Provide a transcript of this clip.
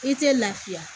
I tɛ lafiya